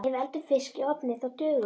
Ef við eldum fisk í ofni þá duga um